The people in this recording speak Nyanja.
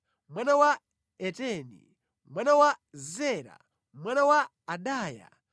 mwana wa Etini, mwana wa Zera, mwana wa Adaya,